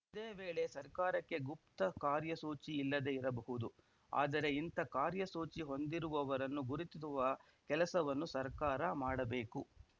ಇದೇ ವೇಳೆ ಸರ್ಕಾರಕ್ಕೆ ಗುಪ್ತ ಕಾರ್ಯಸೂಚಿ ಇಲ್ಲದೇ ಇರಬಹುದು ಆದರೆ ಇಂಥ ಕಾರ್ಯಸೂಚಿ ಹೊಂದಿರುವವರನ್ನು ಗುರುತಿಸುವ ಕೆಲಸವನ್ನು ಸರ್ಕಾರ ಮಾಡಬೇಕು